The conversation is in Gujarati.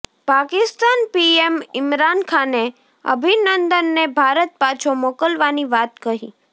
પાકિસ્તાન પીએમ ઇમરાન ખાને અભિનંદનને ભારત પાછો મોકલવાની વાત કહી